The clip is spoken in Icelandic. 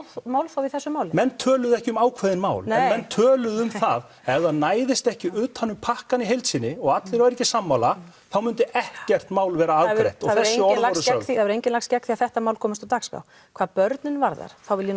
málþófi í þessu máli menn töluðu ekki um ákveðin mál en menn töluðu um að ef það næðist ekki utan um pakkann í heild sinni og allir væru ekki sammála þá myndi ekkert mál vera afgreitt og þessi orð voru sögð það hefur enginn lagst gegn því að þetta mál komist á dagskrá hvað börnin varðar vil ég